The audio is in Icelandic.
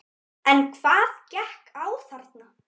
En hvað gekk á þarna?